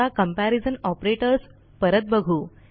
आता comparison operators परत बघू